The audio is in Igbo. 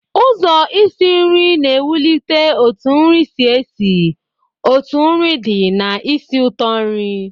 Ụzọ isi nri na ewulite otu nri si esi, otu nri di na ísì ụtọ nri